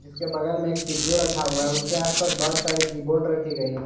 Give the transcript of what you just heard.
उसके बगल मे एक सी_पी_यू रखा हुआ हैं उसके आस पास बहोत सारी कीबोर्ड रखी गई हैं।